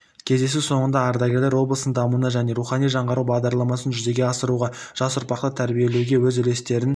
кездесу соңында ардагерлер облыстың дамуына және рухани жаңғыру бағдарламасын жүзеге асыруға жас ұрпақты тәрбиелеуге өз үлестерін